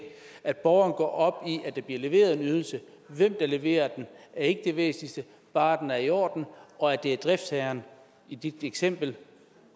at borgeren går op i at der bliver leveret en ydelse hvem der leverer den er ikke det væsentligste bare den er i orden og at det er driftsherren i dit eksempel